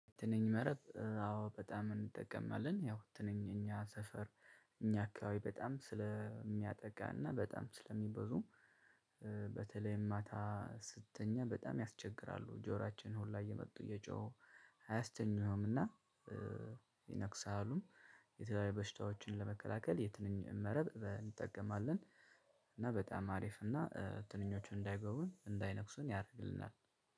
ትንኝ መረብ አዎ በጣም እንጠቀማለን ያው ትንኝ እኛ ሰፈር እኛ አካባቢ በጣም ስለሚያጠቃና በጣም ስለሚበዙ እ በተለይም ማታ ስትተኛ በጣም ያስቸግራሉ ጆራችን ሁሉ እየመጡ እየጮሁ አያስተኙህም እና እ ይነክሳሉ የተለያዩ በሽታዎችን ለመከላከል የትንኝ መረብ እንጠቀማለን። እና በጣም አሪፍ እና እ ትንኞቹን እንዳይገቡ እንዳይነክሱን ያደርግልናል።